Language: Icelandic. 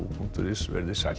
punktur is veriði sæl